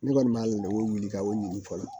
Ne kɔni b'a la lemuru wuli ka o ɲini fɔlɔ